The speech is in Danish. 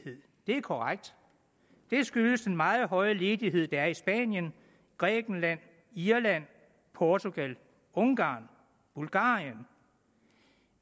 er korrekt det skyldes den meget høje ledighed der er i spanien grækenland irland portugal ungarn og bulgarien